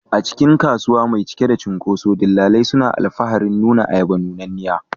A cikin kasuwa mai cike da cunkoso, dillalai suna alfaharin nuna ayaba nunanniya.